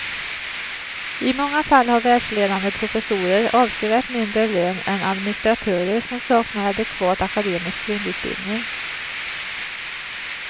I många fall har världsledande professorer avsevärt mindre lön än administratörer som saknar adekvat akademisk grundutbildning.